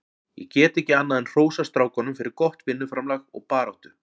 Ég get ekki annað en hrósað strákunum fyrir gott vinnuframlag og baráttu.